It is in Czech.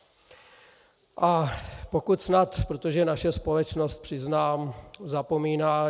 A pokud snad, protože naše společnost, přiznám, zapomíná...